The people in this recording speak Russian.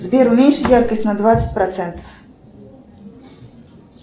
сбер уменьши яркость на двадцать процентов